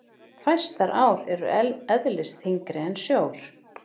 Fæstar ár eru eðlisþyngri en sjór.